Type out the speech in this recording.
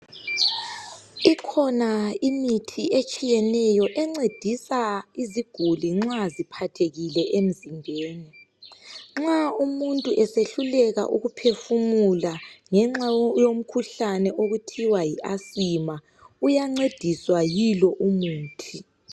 Ikhona imithi etshiyeneyo encedisa iziguli nxa ziphathekile emzimbeni nxa umuntu esehluleka ukuphefumula ngenxa yomkhuhlane okuthiwa yiAsima uyancediswa yilo umuthi